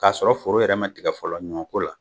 K'a sɔrɔ foro yɛrɛ ma tigɛ fɔlɔ ɲɔnko la